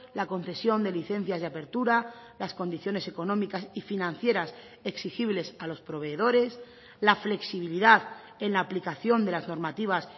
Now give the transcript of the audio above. la concesión de licencias de apertura las condiciones económicas y financieras exigibles a los proveedores la flexibilidad en la aplicación de las normativas